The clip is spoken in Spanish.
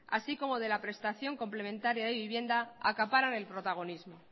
así como de la prestación complementaria de vivienda acaparan el protagonismo